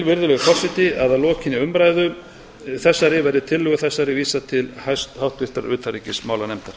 virðulegi forseti að að lokinni umræðu þessari verði tillögu þessari vísað til háttvirtrar utanríkismálanefndar